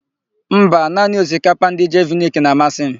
Mba, naanị osikapa ndị Jeviniki na-amasị m.